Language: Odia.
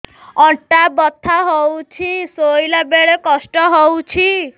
ଅଣ୍ଟା ବଥା ହଉଛି ଶୋଇଲା ବେଳେ କଷ୍ଟ ହଉଛି